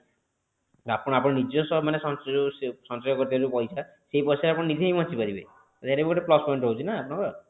ଆପଣ ଆପଣଙ୍କ ନିଜସ୍ଵ ମାନେ ଯୋଉ ସଞ୍ଚୟ କରୁଛନ୍ତି ଯୋଉ ପଇସା ସେଇ ପଇସା ରେ ଆପଣ ନିଜେ ହିଁ ବଞ୍ଚି ପାରିବେ ଏଇଟା ବି ଗୋଟେ plus point ରହୁଛି ନା ଆପଣଙ୍କର